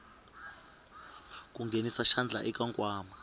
ku nghenisa xandla eka nkwama